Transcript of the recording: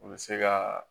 U bɛ se ka